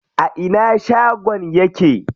A ina shagon yake?